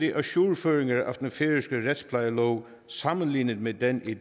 ajourføringer af den færøske retsplejelov sammenlignet med den i